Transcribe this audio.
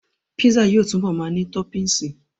Písà yóò túbọ̀ ma ní tọ́pìnsí